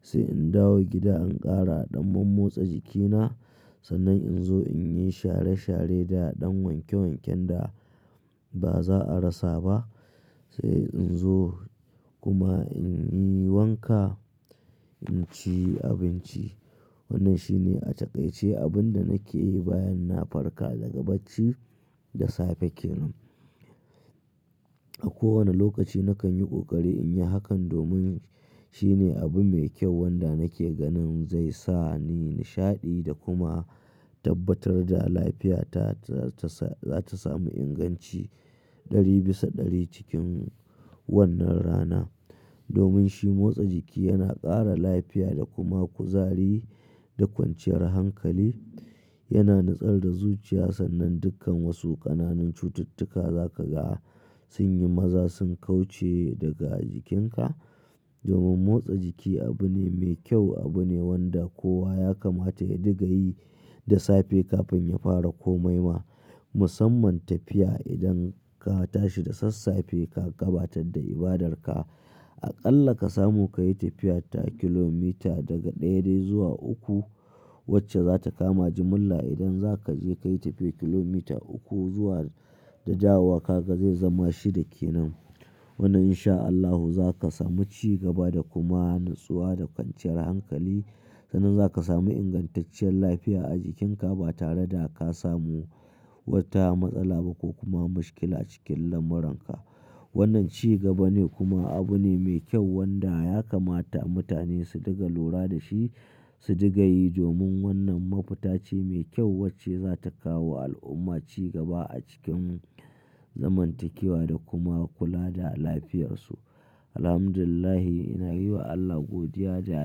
Sai in dawo gida in ƙara ɗan mam motsa jikina. Sannan in zo in yi share share da ɗan wanke wanken da ba za a rasa ba. Sai in zo kuma in yi wanka, in ci abinci. Wannan shine a takaice abin da nake yi bayan na farka daga bacci da safe kenan. A kowane lokaci nakan yi ƙoƙari in yi hakan domin shine abu mai kyau wanda nake ganin zai sa ni nishaɗi da kuma tabbatar da lafiyata za ta samu inganci ɗari bisa ɗari cikin wannan rana. Domin shi motsa jiki yana ƙara lafiya da kuma kuzari da kwanciyar hankali. Yana nutsar da zuciya sannan dukkan wasu ƙananan cututtuka za ka ga sun yi maza, sun kauce daga jikinka. Domin motsa jiki abu ne mai kyau, abu ne wanda kowa ya kamata ya diga yi da safe kafin ya fara komai ma. Musamman tafiya idan ka tashi da sassafe ka gabatar da ibadarka. Aƙalla ka samu ka yi tafiya ta kilomita daga ɗaya dai zuwa uku wacce za ta kama jimilla idan za ka je ka yi tafiyar kilomita uku zuwa da dawowa kaga zai zama shida kenan. Wannan in sha Allahu za ka samu ci gaba da kuma natsuwa da kwanciyar hankali. Sannan za ka samu ingantacciyar lafiya a jikinka ba tare da ka samu wata matsala ba ko kuma mushkil a cikin lamuran ka. Wannan ci gaba ne kuma abu ne mai kyau wanda ya kamata mutane su diga lura da shi, su diga yi domin wannan mafita ce mai kyau wacce za ta kawowa al'umma ci gaba a cikin zaman takewa da kuma kula da lafiyarsu. Alhamdulillah, ina yi wa Allah godiya ja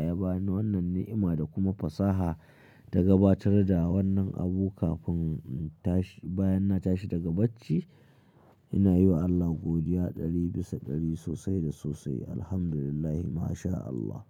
ya ba ni wannan ni'ima da kuma fasaha ta gabatar da wannan abu kafin tashi-- bayan na tashi daga bacci. Ina yi wa Allah godiya ɗari bisa ɗari sosai da sosai. Alhamdulillah. Ma sha Allah.